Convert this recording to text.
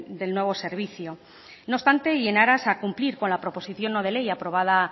del nuevo servicio no obstante y en aras a cumplir con la proposición no de ley aprobada